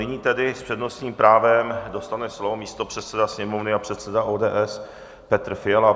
Nyní tedy s přednostním právem dostane slovo místopředseda Sněmovny a předseda ODS Petr Fiala.